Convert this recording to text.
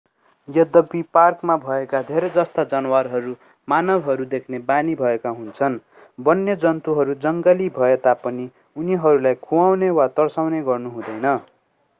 यद्यपि पार्कमा भएका धेरैजस्ता जनावरहरू मानवहरू देख्ने बानी भएका हुन्छन् वन्यजन्तुहरू जंगली भए तापनि उनीहरूलाई खुवाउने वा तर्साउने गर्नु हुँदैन